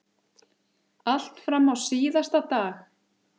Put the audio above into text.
Allt fram á síðasta dag.